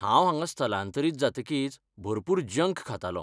हांव हांगा स्थलांतरीत जातकीच भरपूर जंक खातालों.